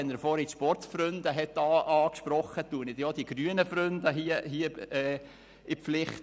Weil er vorhin die Sportfreunde angesprochen hat, nehme ich hier auch die grünen Freunde in die Pflicht.